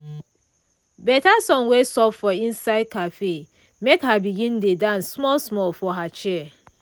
better song wey soft for inside cafe make her begin dey dance small small for her chair.